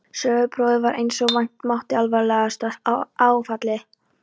Söguprófið varð einsog vænta mátti alvarlegasta áfallið.